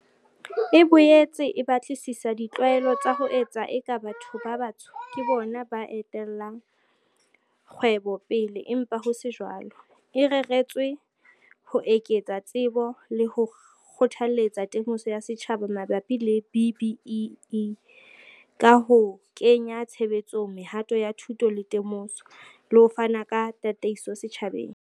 E boetse e batlisisa di tlwaelo tsa ho etsa eka batho ba batsho ke bona ba etellang kgwebo pele empa ho se jwalo, e reretswe ho eketsa tsebo le ho kgothaletsa temoso ya setjhaba mabapi le B-BBEE, ka ho kenya tshebetsong mehato ya thuto le temoso, le ho fana ka tataiso setjhabeng.